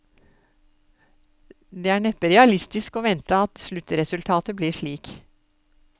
Det er neppe realistisk å vente at sluttresultatet blir slik.